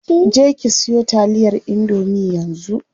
Je ki siyo taliyar indomie yanzu.